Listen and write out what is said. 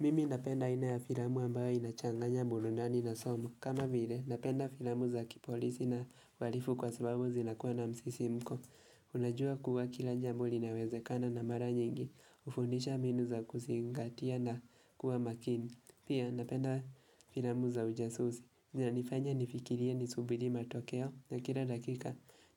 Mimi napenda aina ya filamu ambayo inachanganya burudani na somo kama vile, napenda filamu za kipolisi na uharifu kwa sababu zinakuwa na msisimko. Unajua kuwa kila jambo linawezekana na mara nyingi hufundisha mbinu za kuzingatia na kuwa makini. Pia napenda filamu za ujasusi, zinanifanya nifikirie, nisubiri matokeo na kila dakika